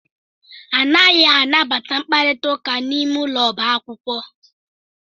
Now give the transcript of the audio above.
Anaghị anabata mkparita ụka n'ime ụlọ ọba akwụkwọ.